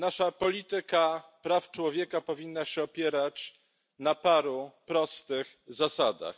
Nasza polityka praw człowieka powinna się opierać na paru prostych zasadach.